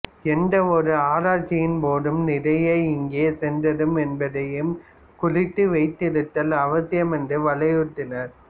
எந்த ஓர் ஆராய்ச்சியின் போதும் நிறை எங்கே சென்றது என்பதையும் குறித்து வைத்திருத்தல் அவசியம் என்றும் வலியுறுத்தினார்